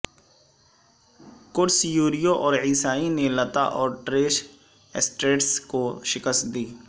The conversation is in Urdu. کرس یریو اور عیسائی نے لتا اور ٹریش سٹریٹس کو شکست دی